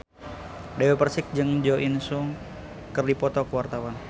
Dewi Persik jeung Jo In Sung keur dipoto ku wartawan